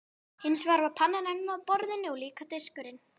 Hins vegar var pannan enn á borðinu og líka diskurinn.